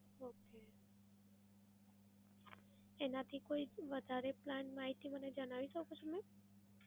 Okay. એનાંથી કોઈ વધારે plan માહિતી મને જણાવી શકો છો મેમ?